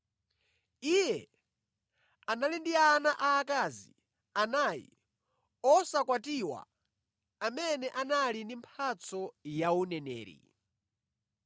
Iye anali ndi ana aakazi anayi osakwatiwa amene anali ndi mphatso ya uneneri.